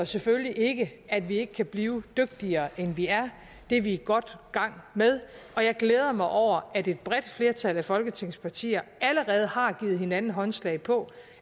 selvfølgelig ikke at vi ikke kan blive dygtigere end vi er det er vi godt i gang med og jeg glæder mig over at et bredt flertal af folketingets partier allerede har givet hinanden håndslag på